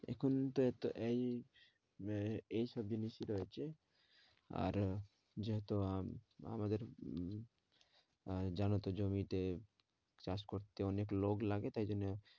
এখন তো এতো এই তো এই আহ এই সব জিনিসই রয়েছে আরও যত আমাদের উম আহ জানতো জমিতে চাষ করতে অনেক লোক লাগে তাই জন্য